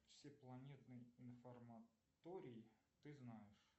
всепланетный информаторий ты знаешь